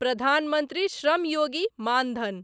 Pradhan Mantri Shram Yogi Maan Dhan